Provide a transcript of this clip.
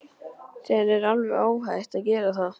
Þér er alveg óhætt að gera það!